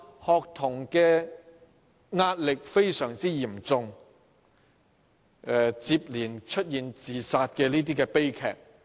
學童壓力非常沉重，接連出現自殺悲劇。